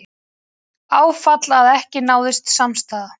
Áfall að ekki náðist samstaða